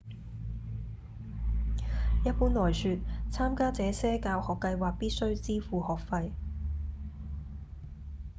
一般來說參加這些教學計畫必須支付學費